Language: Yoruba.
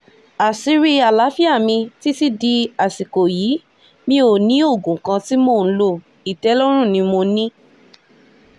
àṣírí àlàáfíà mi títí dàsìkò yìí mi ò ní oògùn kan tí mò ń lo ìtẹ́lọ́rùn ni mo ní